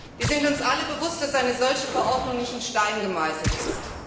Wir sind uns alle bewusst, dass eine solche Verordnung nicht in Stein gemeißelt ist.